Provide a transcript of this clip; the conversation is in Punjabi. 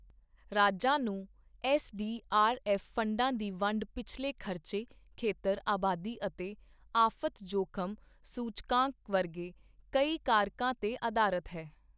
ਰਾਜਾਂ ਨੂੰ ਐੱਸਡੀਆਰਐੱਫ ਫੰਡਾਂ ਦੀ ਵੰਡ ਪਿਛਲੇ ਖਰਚੇ, ਖੇਤਰ, ਆਬਾਦੀ ਅਤੇ ਆਫ਼ਤ ਜੋਖਮ ਸੂਚਕਾਂਕ ਵਰਗੇ ਕਈ ਕਾਰਕਾਂ ਤੇ ਅਧਾਰਤ ਹੈ।